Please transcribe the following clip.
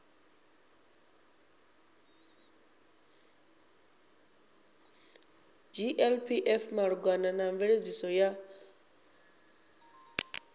glpf malugana na mveledziso ya